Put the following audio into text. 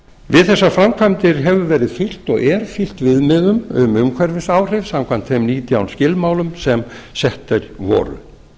við þessar framkvæmdir hefur verið fylgt og er fylgt viðmiðun um umhverfisáhrif samkvæmt þeim nítján skilmálum sem settir voru